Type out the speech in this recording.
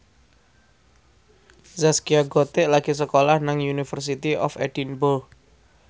Zaskia Gotik lagi sekolah nang University of Edinburgh